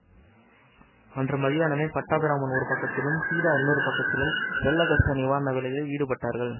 அன்று மத்தியானமே பட்டாபிராமன் ஒரு பக்கத்திலும் சீதா இன்னொரு பக்கத்திலும் வெள்ள கஷ்ட நிவாரண வேலையில் ஈடுபட்டார்கள்